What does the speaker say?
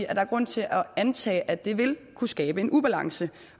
at der er grund til at antage at det vil kunne skabe en ubalance